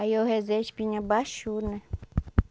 Aí eu rezei, a espinha baixou, né?